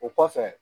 O kɔfɛ